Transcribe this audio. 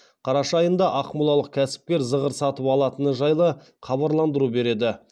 қараша айында ақмолалық кәсіпкер зығыр сатып алатыны жайлы хабарландыру береді